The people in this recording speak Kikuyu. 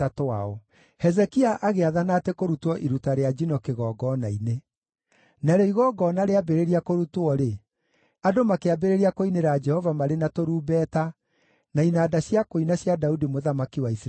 Hezekia agĩathana atĩ kũrutwo iruta rĩa njino kĩgongona-inĩ. Narĩo igongona rĩambĩrĩria kũrutwo-rĩ, andũ makĩambĩrĩria kũinĩra Jehova marĩ na tũrumbeta na inanda cia kũina cia Daudi mũthamaki wa Isiraeli.